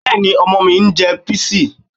Bẹ́ẹ̀ni, ọmọ mi ń jẹ píìsì